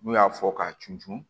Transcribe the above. N'u y'a fɔ k'a cun cun